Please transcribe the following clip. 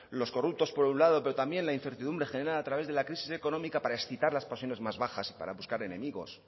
los corruptos por un lado pero también la incertidumbre generada a través de la crisis económica para excitar las pasiones más bajas y para buscar enemigos